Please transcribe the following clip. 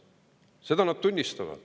Seda nad tunnistavad.